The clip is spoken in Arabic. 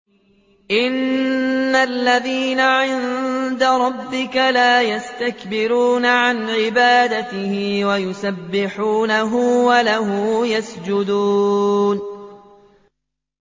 إِنَّ الَّذِينَ عِندَ رَبِّكَ لَا يَسْتَكْبِرُونَ عَنْ عِبَادَتِهِ وَيُسَبِّحُونَهُ وَلَهُ يَسْجُدُونَ ۩